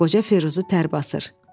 Qoca Firuzu tər basır.